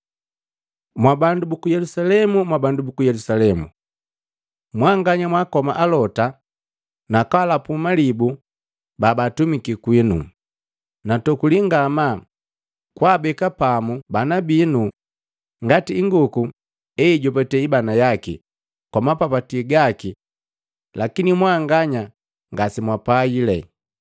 “Mwabandu buku Yelusalemu! Mwabandu buku Yelusalemu! Mwanganya mwaakoma alota nakalapu malibu babatumiki kwinu, natokuli ngamaa kwaabeka pamu bana binu ngati ingoku eijobate ibana yaki kwa mapapati gaki lakini mwanganya ngasemwapaile.